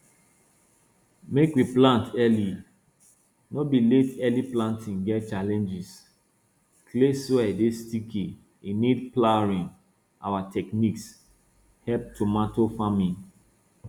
make we plant early no be late early planting get challenges clay soil dey sticky e need ploughing our techniques help tomato farming